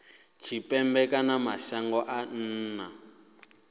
tshipembe kana mashangoni a nnḓa